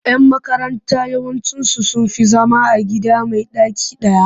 Yan makaranta yawanci sun fi zama a gida mai ɗaki ɗaya.